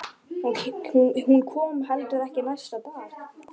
Hún kom heldur ekki næsta dag.